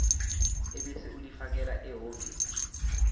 ebese ulifakela ehhovisi